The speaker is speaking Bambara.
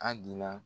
A dia